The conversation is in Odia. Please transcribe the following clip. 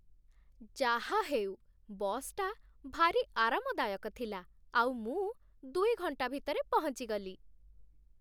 ଯାହା ହେଉ, ବସ୍‌ଟା ଭାରି ଆରାମଦାୟକ ଥିଲା ଆଉ ମୁଁ ଦୁଇ ଘଣ୍ଟା ଭିତରେ ପହଞ୍ଚିଗଲି ।